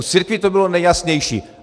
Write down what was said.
U církví to bylo nejjasnější.